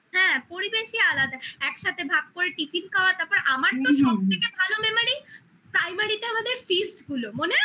হ্যাঁ পরিবেশই আলাদা একসাথে ভাগ করে tiffin খাওয়া তারপর আমার তো সব থেকে ভালো memory primary তে আমাদের feast গুলো মনে আছে?